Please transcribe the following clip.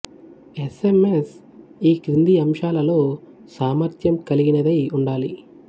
yes M S ఈ కింది అంశాలలో సామర్థ్యం కలిగినదై ఉండాలి